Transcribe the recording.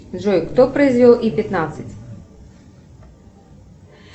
джой кто произвел и пятнадцать